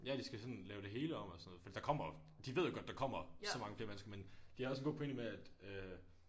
Ja de skal sådan lave det hele om og sådan noget fordi der kommer jo de ved godt der kommer så mange flere mennesker men de har også en god pointe med at øh